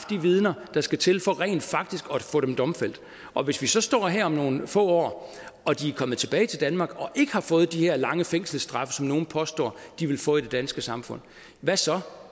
de vidner der skal til for rent faktisk få dem domfældt og hvis vi så står her om nogle få år og de er kommet tilbage til danmark og ikke har fået de her lange fængselsstraffe som nogle påstår de vil få i det danske samfund hvad så